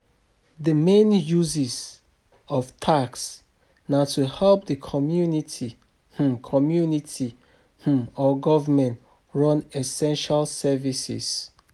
Di main uses of tax na to help di community um community um or government run essential services